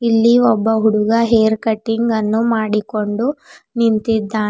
ಇಲ್ಲಿ ಒಬ್ಬ ಹುಡುಗ ಹೇರ್ ಕಟಿಂಗ್ ಅನ್ನು ಮಾಡಿಕೊಂಡು ನಿಂತ್ತಿದ್ದಾ--